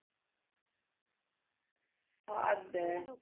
ਹੱਦ ਏ।